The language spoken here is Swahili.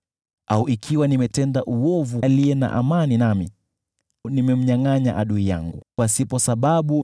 au ikiwa nimemtenda uovu aliye na amani nami, au nimemnyangʼanya adui yangu pasipo sababu,